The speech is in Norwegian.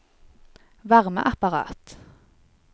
varmeapparat